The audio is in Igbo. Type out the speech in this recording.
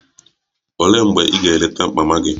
Olee mgbe ị ga-eleta mama gị?